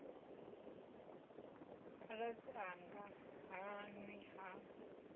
khaladzi anga ha nwi ha